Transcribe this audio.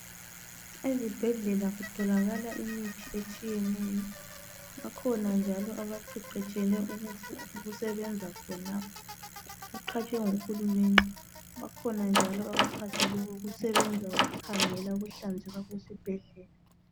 Ezibhedlela kutholakala imithi etshiyeneyo, bakhona njalo abaqheqhetshele ukusebenza khonalapho beqhatshwe nguhulumende. Bakhona njalo abaqhatshelwe ukusebenza ukukhangela ukuhlanzeka kwesibhedlela.